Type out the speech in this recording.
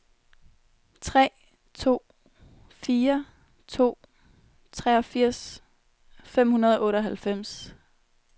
tre to fire to treogfirs fem hundrede og otteoghalvfems